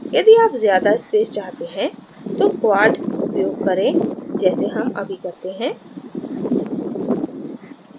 यदि आप ज्यादा space चाहते हैं तो quad उपयोग करें जैसे हम अभी करते हैं